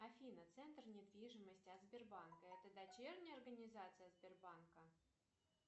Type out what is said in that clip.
афина центр недвижимости от сбербанка это дочерняя организация сбербанка